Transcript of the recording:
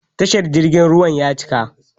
Tashar jirgin ruwan ya cika.